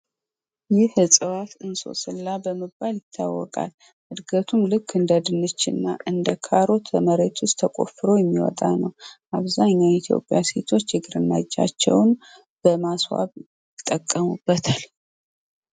ይህ እጽዋር እንሶስላ በመባል ይታወቃል። እንድገቱም ልክ እንደድንች እና እንደ ካሮት ተቆፍሮ የሚወጣ ነው። አብዛኛው የኢትዮጵያ ሲቶች እጃችውን ለማስዋብ ይጠቀሙበታል።